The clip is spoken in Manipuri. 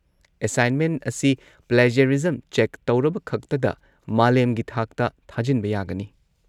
ꯑꯦꯁꯥꯏꯟꯃꯦꯟ ꯑꯁꯤ ꯄ꯭ꯂꯦꯖꯔꯤꯖꯝ ꯆꯦꯛ ꯇꯧꯔꯕꯈꯛꯇꯗ ꯃꯥꯂꯦꯝꯒꯤ ꯊꯥꯛꯇ ꯊꯥꯖꯤꯟꯕ ꯌꯥꯒꯅꯤ꯫